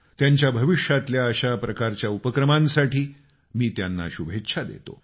त्यांच्या भविष्यातल्या अशा प्रकारच्या उपक्रमांसाठी मी त्यांना शुभेच्छा देतो